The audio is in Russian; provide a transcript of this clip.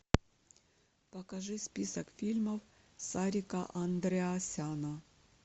покажи список фильмов сарика андреасяна